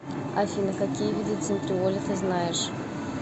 афина какие виды центриоли ты знаешь